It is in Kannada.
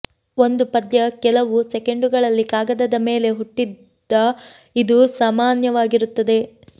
ಒಂದು ಪದ್ಯ ಕೆಲವು ಸೆಕೆಂಡುಗಳಲ್ಲಿ ಕಾಗದದ ಮೇಲೆ ಹುಟ್ಟಿದ ಇದು ಸಾಮಾನ್ಯವಾಗಿರುತ್ತದೆ